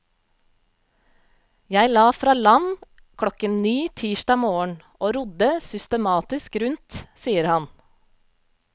Jeg la fra land klokken ni tirsdag morgen, og rodde systematisk rundt sier han.